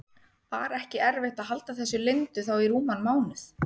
Var ekki erfitt að halda þessu leyndu þá í rúman mánuð?